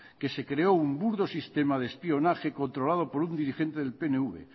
que se creó un burdo sistema de espionaje controlado por un dirigente del pnv